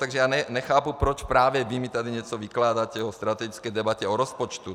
Takže já nechápu, proč právě vy mi tady něco vykládáte o strategické debatě o rozpočtu.